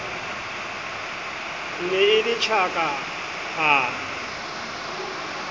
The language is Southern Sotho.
ne e le tjaka hara